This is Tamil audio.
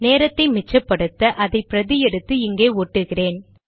நேரத்தை மிச்சப்படுத்தஅதை பிரதி எடுத்து இங்கே ஒட்டுகிறேன்